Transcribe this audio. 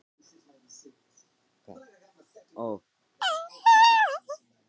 Íssól, hver er dagsetningin í dag?